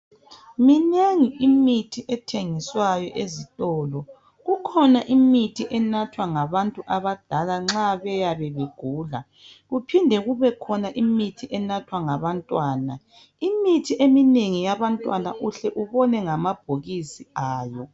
Minengi imithi ethengiswayo ezitolo. Kukhona imithi enathwa ngabantu abadala nxa beyabe begula kuphinde kubekhona imithi enathwa ngabantwana. Imithi eminengi yabantwana uhle ubone ngamabhokisi ayo.